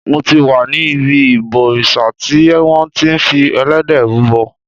Mo ti wà ní ibi ìbòrìṣà tí wọn ti fi Ẹlẹ́dẹ̀ rúbọ.